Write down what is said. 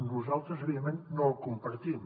nosaltres evidentment no el compartim